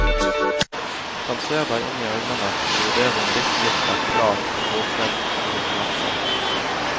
Den ser deg inn i øynene og vurderer om ditt blikk er klart, våkent og oppmerksomt.